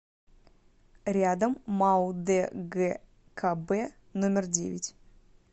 рядом мау дгкб номер девять